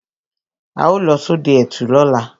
Á ó lọ sodẹ ẹtù lóla